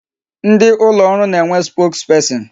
Ndị ụlọ ọrụ na-enwe spokesperson.